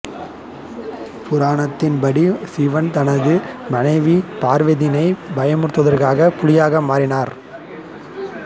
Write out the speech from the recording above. புராணத்தின் படி சிவன் தனது மனைவி பார்வதிதியை பயமுறுத்துவதற்காக புலியாக மாறினார்